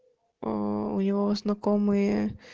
у него знакомые